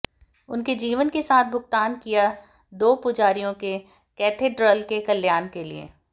उनके जीवन के साथ भुगतान किया दो पुजारियों के कैथेड्रल के कल्याण के लिए